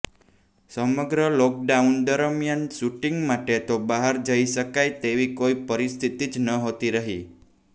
સમગ્ર લોકડાઉન દરમિયાન શૂટિંગ માટે તો બહાર જઇ શકાય તેવી કોઇ પરિસ્થિતિ જ નહોતી રહી